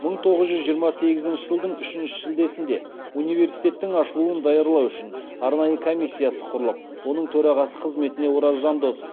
мың тоғыз жүз жиырма сегізінші жылдың үшінші шілдесінде университеттің ашылуын даярлау үшін арнайы комиссиясы құрылып оның төрағасы қызметіне ораз жандосов